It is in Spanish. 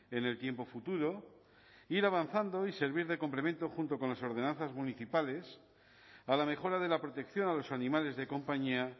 en el tiempo futuro ir avanzando y servir de complemento junto con las ordenanzas municipales a la mejora de la protección a los animales de compañía